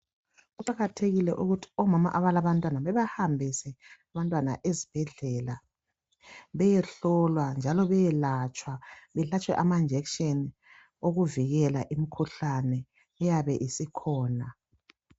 Kuqakathekile ukuthi omama abalabantwana bebahambise abantwana ezibhedlela beyehlohlwa njalo beyelatshwa, behlatshwe amajekiseni ukuvikela imikhuhlane eyabe isikhona.